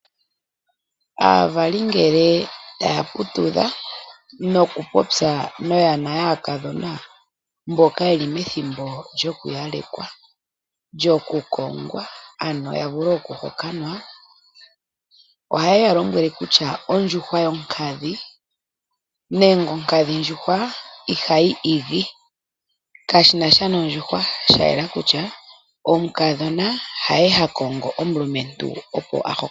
Aavali ngele taya putudha nokupopya noyana yaakadhona mboka yeli methimbo lyokuyalekwa, lyokukongwa ano yavule okuhokanwa oha yeya lombwele kutya ondjuhwa yonkadhi nenge onkadhi ndjuhwa ihayi igi . Kashinasha nondjuhwa shayela kutya omukadhona haye ha konge omulumentu opo a hokanwe.